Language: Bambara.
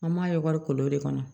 An b'a ye wari kolon de kɔnɔ